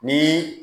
Ni